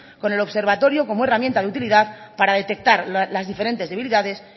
con el observatorio como herramienta de utilidad para detectar las diferentes debilidades